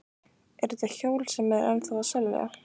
Eru þetta hjól sem eru ennþá að selja?